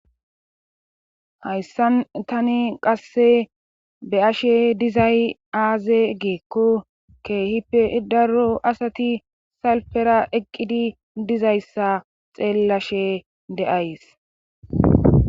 Hayssan tani qasse be ashe dizay aaze geekko keehippe daro asati salfera eqqidi dizayssa xeellashe de7ays.